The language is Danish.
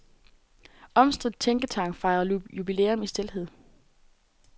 Omstridt tænketank fejrer jubilæum i stilhed.